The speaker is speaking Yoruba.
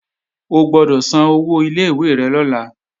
O gbọ́dọ̀ san owó ilé ìwé rẹ lọ́la